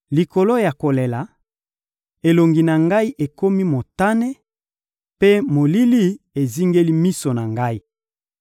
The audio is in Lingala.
Likolo ya kolela, elongi na ngai ekomi motane, mpe molili ezingeli miso na ngai.